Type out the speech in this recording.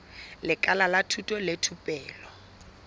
lekala la thuto le thupelo